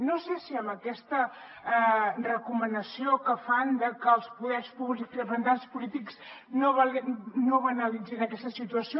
no sé si amb aquesta recomanació que fan de que els poders públics de que els representants polítics no banalitzin aquesta situació